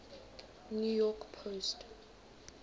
new york post